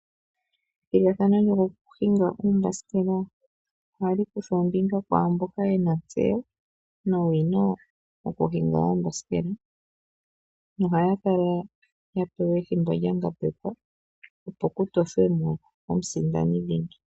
Ethigathano lyoombasikela, ohali kuthwa ombinga kwaamboka yena ontseyo nowina yokuhinga oombasikela. Ohaya kala pewa ethimbo lyangambekwa, opo ku tothwemo omusindani dhingi.